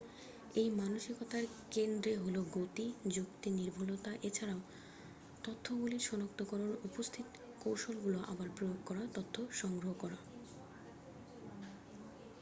এই মানসিকতার কেন্দ্রে হল গতি যুক্তি নির্ভুলতা এছাড়াও তথ্যগুলির সনাক্তকরন উপস্থিত কৌশলগুলো আবার প্রয়োগ করা তথ্য সংগ্রহ করা